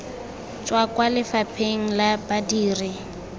tswa kwa lefapheng la badiri